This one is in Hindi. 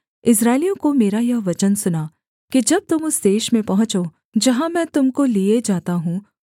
इस्राएलियों को मेरा यह वचन सुना कि जब तुम उस देश में पहुँचो जहाँ मैं तुम को लिये जाता हूँ